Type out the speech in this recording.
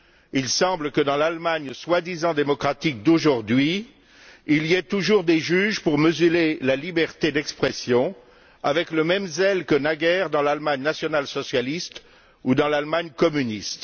Il semble que dans l'Allemagne soi disant démocratique d'aujourd'hui, il y ait toujours des juges pour museler la liberté d'expression, avec le même zèle que naguère dans l'Allemagne national socialiste ou dans l'Allemagne communiste.